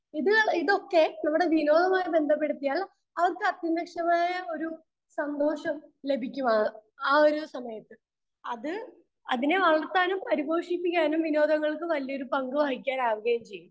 Speaker 2 ഇത്, ഇതൊക്കെ നമ്മുടെ വിനോദവുമായി ബന്ധപ്പെടുത്തിയാൽ അത് സത്യനിഷ്ടമായ ഒരു സന്തോഷം ലഭിക്കും ആ ഒരു സമയത്ത്. അത്, അതിനെ വളർത്താനും പരിപോഷിപ്പിക്കാനും വിനോദങ്ങൾക്ക് വലിയൊരു പങ്കു വഹിക്കാനാവുകയും ചെയ്യും.